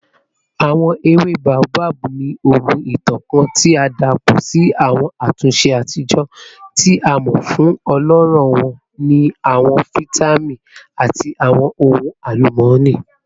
Awọn ewe Boabab ni ogún itan kan ti a dapọ si awọn atunṣe atijọ, ti a mọ fun ọlọrọ wọn ni awọn vitamin ati awọn ohun alumọni.